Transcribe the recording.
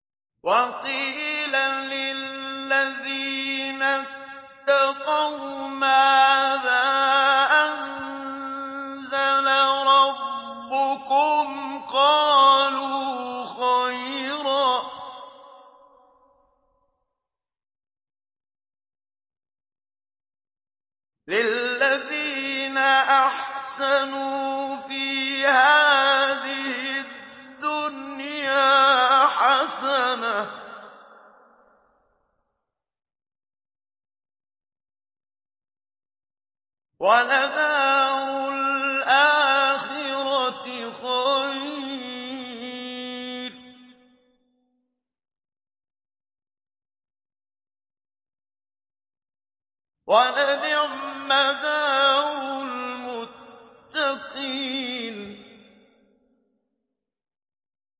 ۞ وَقِيلَ لِلَّذِينَ اتَّقَوْا مَاذَا أَنزَلَ رَبُّكُمْ ۚ قَالُوا خَيْرًا ۗ لِّلَّذِينَ أَحْسَنُوا فِي هَٰذِهِ الدُّنْيَا حَسَنَةٌ ۚ وَلَدَارُ الْآخِرَةِ خَيْرٌ ۚ وَلَنِعْمَ دَارُ الْمُتَّقِينَ